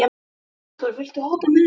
Arthúr, viltu hoppa með mér?